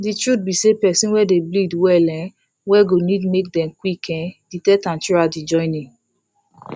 the truth be say persin wey dey bleed well um well go need make dem qik um detect am throughout the journey